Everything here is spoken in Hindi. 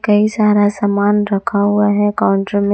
कई सारा सामान रखा हुआ है काउंटर में।